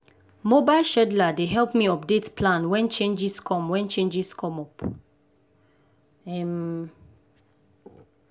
mobile scheduler dey help me update plan wen changes come wen changes come up. um